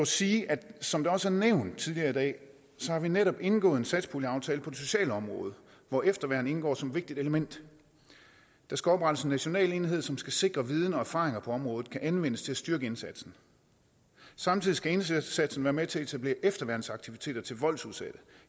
sige at som det også er nævnt tidligere i dag har vi netop indgået en satspuljeaftale på det sociale område hvor efterværn indgår som et vigtigt element der skal oprettes en national enhed som skal sikre at viden og erfaring på området kan anvendes til at styrke indsatsen samtidig skal indsatsen være med til at etablere efterværnsaktiviteter til voldsudsatte